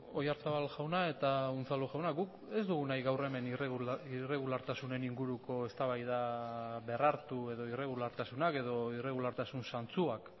oyarzabal jauna eta unzalu jauna guk ez dugu nahi gaur hemen irregulartasunen inguruko eztabaida berrartu edo irregulartasunak edo irregulartasun zantzuak